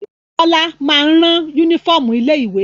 Bọ́lá máa ń rán únífọ́ọ́mù ilé-ìwé.